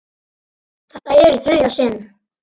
Þetta er í þriðja sinn.